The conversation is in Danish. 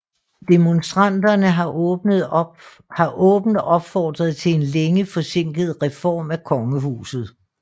Demonstranterne har åbent opfordret til en længe forsinket reform af kongehuset